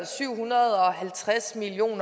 syv hundrede og halvtreds million